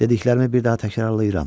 Dediklərimi bir daha təkrarlayıram.